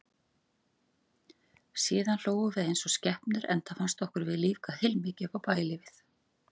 Síðan hlógum við eins og skepnur, enda fannst okkur við lífga heilmikið upp á bæjarlífið.